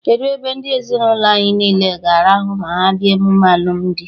Kedụ ebe ndị ezinụlọ anyị niile ga-arahụ ma ha bịa emume alụmdi?